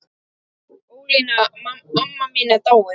Ólína amma mín er dáin.